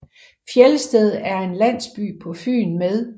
Fjelsted er en landsby på Fyn med